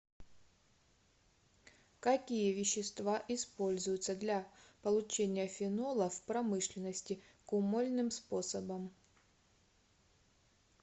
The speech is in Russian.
какие вещества используются для получения фенола в промышленности кумольным способом